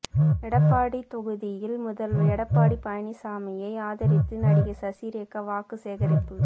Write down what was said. இடைப்பாடி தொகுதியில் முதல்வர் எடப்பாடி பழனிசாமியை ஆதரித்து நடிகை சசிரேகா வாக்குசேகரிப்பு